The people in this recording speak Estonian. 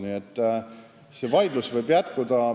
Nii et see vaidlus võib jätkuda.